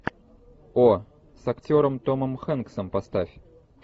о с актером томом хэнксом поставь